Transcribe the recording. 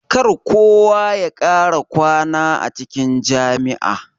Kar kowa ya kara kwana a cikin jami'a.